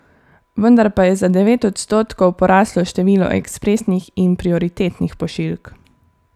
Vendar pa je za devet odstotkov poraslo število ekspresnih in prioritetnih pošiljk.